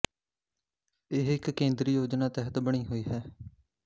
ਇਹ ਇੱਕ ਕੇਂਦਰੀ ਯੋਜਨਾ ਤਹਿਤ ਬਣੀ ਹੋਈ ਹੈ